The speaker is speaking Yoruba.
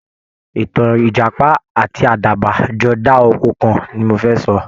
Ìtàn Ìjàpá àti Àdàbà jọ dá oko kan ni mo fẹ́ sọ